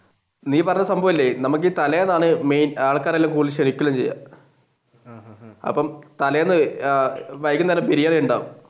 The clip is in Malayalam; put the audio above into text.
നീ പറഞ്ഞ സംഭവമില്ലേ നമുക്ക് ഈ തലേന്നാണ് ആൾക്കാരെ കൂടുതൽ ക്ഷണിക്കുന്നത് അപ്പൊ തലേന്ന് വൈകുന്നേരം ബിരിയാണി ഉണ്ടാവും.